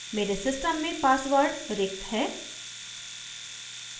मेरे system में password रिक्त है